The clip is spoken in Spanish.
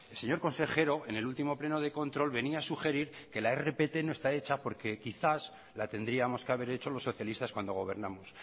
señor consejero en el último pleno de control venía a sugerir que la rpt no está hecha porque quizás la tendríamos que haber hecho los socialistas cuando gobernamos